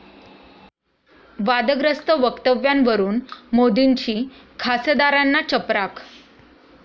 वादग्रस्त वक्तव्यांवरून मोदींची खासदारांना चपराक